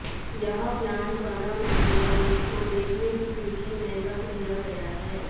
यह प्लांट बना नही है और इसको बेचने की सूची में रख दिया गया है